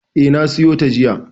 E, na siyo ta jiya.